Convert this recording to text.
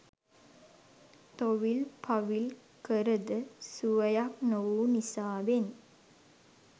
තොවිල් පවිල් කරද සුවයක් නොවු නිසාවෙන්